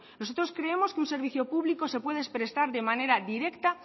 nosotros creemos que un servicio público se puede prestar de manera directa